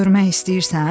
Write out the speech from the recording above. Görmək istəyirsən?